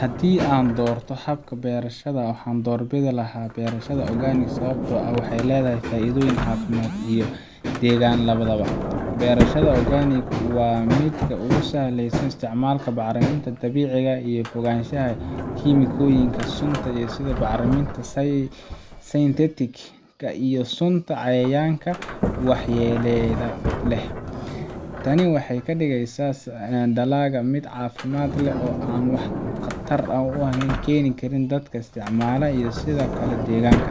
Haddii aan u doorto habka beerashada, waxaan doorbidi lahaa beerashada organic sababtoo ah waxay leedahay faa’iidooyin caafimaad iyo deegaan labadaba. Beerashada organic waa mid ku saleysan isticmaalka bacriminta dabiiciga ah iyo ka fogaanshaha kiimikooyinka sunta ah sida bacriminta synthetic-ka iyo sunta cayayaanka ee waxyeelada leh. Tani waxay ka dhigeysaa dalagga mid caafimaad leh oo aan wax khatar ah u keenin dadka isticmaala iyo sidoo kale deegaanka.